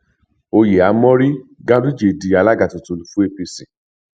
oyè á mórí ganduje di alága tuntun fún apc